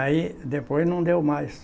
Aí, depois não deu mais.